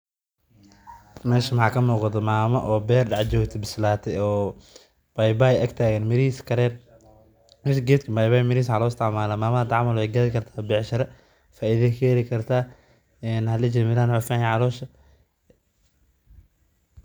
Meeshan waxaa ka muuqdo maamo oo beer joogto oo dex taagan oo mirahiisa bisladeen.